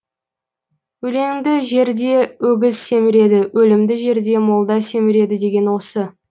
өлеңді жерде өгіз семіреді өлімді жерде молда семіреді деген осы